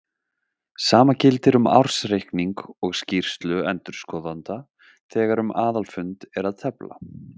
Sama gildir um ársreikning og skýrslu endurskoðenda þegar um aðalfund er að tefla.